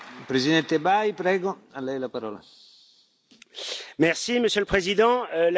Monsieur le Président, la Turquie a largement occupé les débats de la dernière réunion du Conseil.